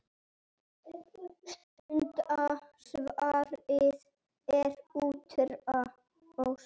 Stutta svarið er útrás.